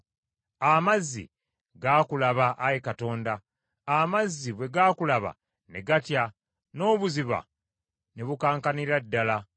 Amazzi gaakulaba, Ayi Katonda; amazzi bwe gaakulaba ne gatya, n’obuziba ne bukankanira ddala.